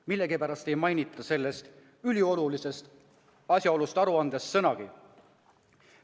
Millegipärast ei mainita seda üliolulist asjaolu aruandes sõnagagi.